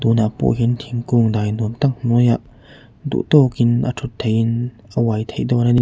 tunah pawh hian thingkung dai nuam tak hnuaiah duh tawkin a ṭhut theihin a uai theih dawn a ni.